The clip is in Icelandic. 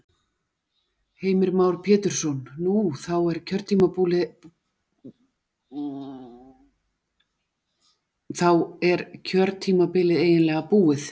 Heimir Már Pétursson: Nú, þá er kjörtímabilið eiginlega búið?